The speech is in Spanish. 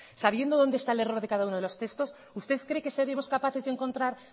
sabiendo donde está el error de cada uno de los textos usted cree que seremos capaces de encontrar